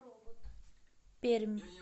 пермь